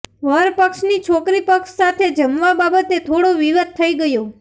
વર પક્ષની છોકરીપક્ષ સાથે જમવા બાબતે થોડો વિવાદ થઈ ગયો